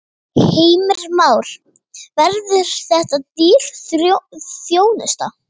Heimir Már: Verður þetta dýr þjónusta?